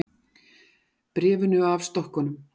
Bréfinu af stokkunum.